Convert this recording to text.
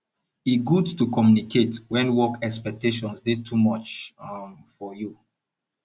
e good to communicate wen work expectations dey too much um for you